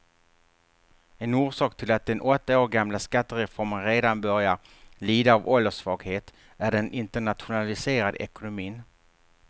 En orsak till att den åtta år gamla skattereformen redan börjar lida av ålderssvaghet är den internationaliserade ekonomin.